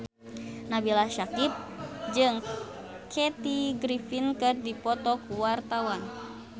Nabila Syakieb jeung Kathy Griffin keur dipoto ku wartawan